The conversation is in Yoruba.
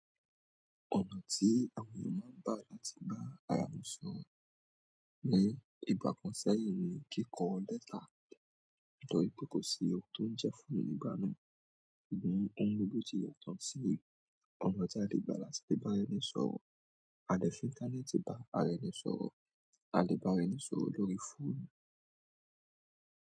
Ọ̀nà tí àwọn ènìyàn máa ń gba láti bá ara wọn sọ̀rọ̀ ni ìgbá kan sẹ́yìn ní kíkọ lẹ́tà, torí pé kò sí ohun tó ń jẹ fúnnu nígbà náà. Ṣùgbọ́n oun gbogbo ti yàtọ̀ nsin. Ọ̀nà ti a le fba láti fi ba ara ẹni sọ̀rọ̀. A lè fi interneti bá ara ẹni sọ̀rọ̀, a lè bá ara ẹni sọ̀rọ̀ lórí fóònù.